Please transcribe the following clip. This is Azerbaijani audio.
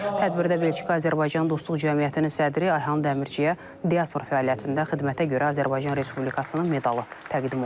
Tədbirdə Belçika Azərbaycan Dostluq Cəmiyyətinin sədri Ayxan Dəmirçiyə diaspora fəaliyyətində xidmətə görə Azərbaycan Respublikasının medalı təqdim olunub.